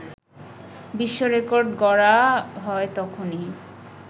বিশ্ব রেকর্ড গড়া হয় তখনই